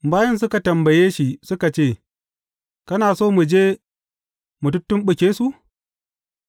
Bayin suka tambaye shi suka ce, Kana so mu je mu tuttumɓuke su?’